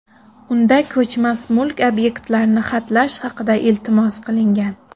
Unda ko‘chmas mulk obyektlarini xatlash haqida iltimos qilingan.